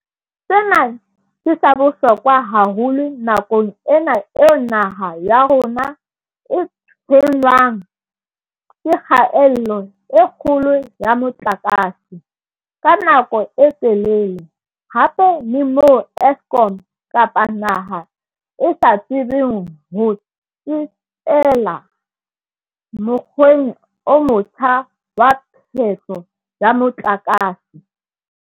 Sena ke sa bohlokwa haholo nakong ena eo naha ya rona e tshwenngwang ke kgaello e kgolo ya motlakase, ka nako e telele, hape e le moo Eskom kapa naha e sa tsebeng ho tsetela mokgweng o motjha wa phehlo ya motlakase.